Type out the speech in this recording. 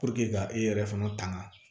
ka e yɛrɛ fana tanga